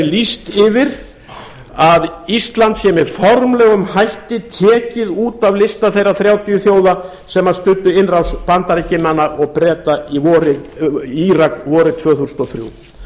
lýst yfir að ísland sé með formlegum hætti tekið út af lista þeirra þrjátíu þjóða sem studdu innrás bandaríkjamanna og breta í írak vorið tvö þúsund og þrjú